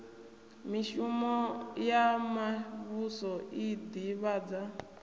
mishumo ya muvhuso i ḓivhadza